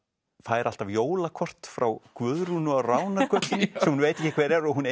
fær alltaf jólakort frá Guðrúnu á Ránargötunni sem hún veit ekki hver er og hún